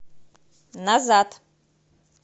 назад